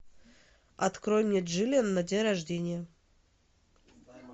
открой мне джиллиан на день рождения